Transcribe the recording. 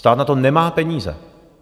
Stát na to nemá peníze.